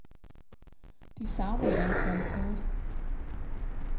De savner i al fald noget.